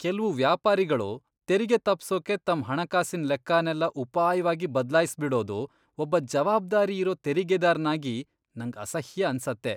ಕೆಲ್ವು ವ್ಯಾಪಾರಿಗಳು ತೆರಿಗೆ ತಪ್ಸೋಕೆ ತಮ್ ಹಣಕಾಸಿನ್ ಲೆಕ್ಕನೆಲ್ಲ ಉಪಾಯ್ವಾಗಿ ಬದ್ಲಾಯ್ಸ್ಬಿಡೋದು ಒಬ್ಬ ಜವಾಬ್ದಾರಿ ಇರೋ ತೆರಿಗೆದಾರ್ನಾಗಿ ನಂಗ್ ಅಸಹ್ಯ ಅನ್ಸತ್ತೆ.